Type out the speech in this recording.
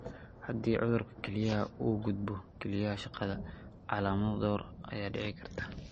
Haddii cudurka kelyaha uu u gudbo kelyaha shaqada, calaamado dhowr ah ayaa dhici kara.